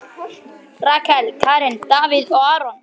Rakel, Karen, Davíð og Aron.